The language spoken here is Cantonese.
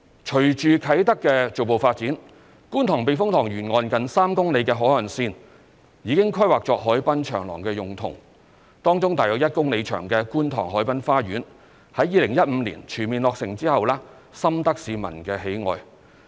隨着啟德的逐步發展，觀塘避風塘沿岸近3公里的海岸線已經規劃作海濱長廊用途，當中約1公里長的觀塘海濱花園在2015年全面落成後深得市民喜愛。